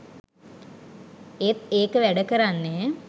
ඒත් ඒක වැඩ කරන්නෙ